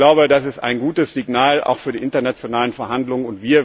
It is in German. Ich glaube, das ist ein gutes Signal, auch für die internationalen Verhandlungen.